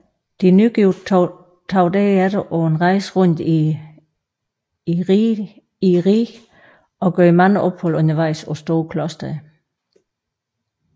De nygifte tog derefter på en rejse rundt i riget og gjorde mange ophold undervejs på store klostre